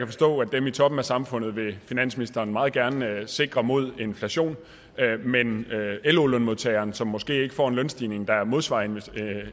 forstå at dem i toppen af samfundet vil finansministeren meget gerne sikre mod inflation men med hensyn lo lønmodtageren som måske ikke får en lønstigning der modsvarer